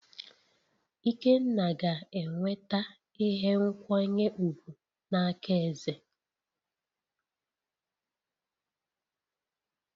Ikenna ga-enweta ihe nkwanye ùgwù n'aka eze